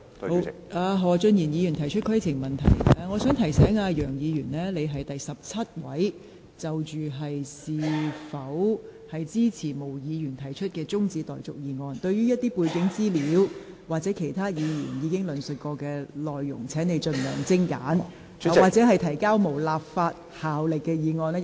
楊議員，我想提醒你，你是第十七位議員就是否支持毛議員提出的辯論中止待續議案發言，請你不要詳細論述背景資料、其他議員已經提述的內容，以及談論當局提交無立法效力議案的安排。